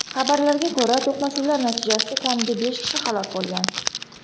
Xabarlarga ko‘ra, to‘qnashuvlar natijasida kamida besh kishi halok bo‘lgan.